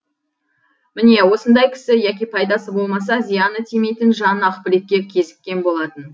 міне осындай кісі яки пайдасы болмаса зияны тимейтін жан ақбілекке кезіккен болатын